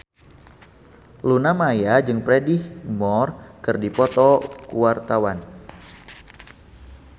Luna Maya jeung Freddie Highmore keur dipoto ku wartawan